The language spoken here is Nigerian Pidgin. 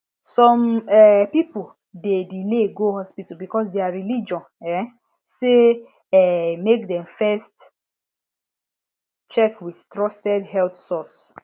some um people dey delay go hospital because their religion um say um make dem first check with trusted health source